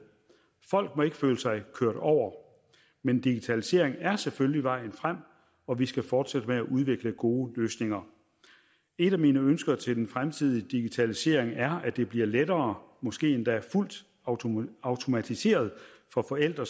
folk må ikke føle sig kørt over men digitalisering er selvfølgelig vejen frem og vi skal fortsætte med at udvikle gode løsninger et af mine ønsker til den fremtidige digitalisering er at det bliver lettere måske endda fuldt automatiseret for forældre